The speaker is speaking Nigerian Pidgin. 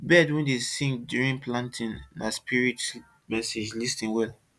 bird wey dey sing during planting na spirit message lis ten well